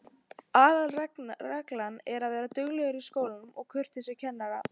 Aðalreglan er að vera duglegur í skólanum og kurteis við kennarana.